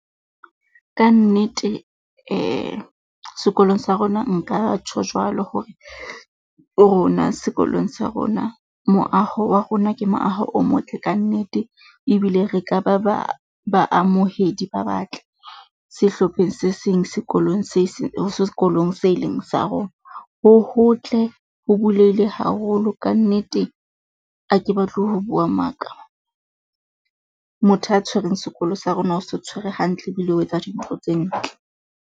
Kannete sekolong sa rona nka tjho jwalo hore, rona sekolong sa rona moaho wa rona ke moaho o motle ka nnete. Ebile re ka ba ba baamohedi ba batle sehlopheng se seng sekolong se seng ho sekolong se eleng sa rona. Ho hotle ho bulehile haholo kannete a ke batle ho bua maka. Motho a tshwerweng sekolo sa rona, o se tshwere hantle ebile o etsa dintho tse ntle.